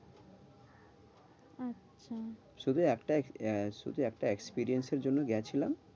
শুধু একটা, শুধু একটা experience এর জন্য গেছিলাম।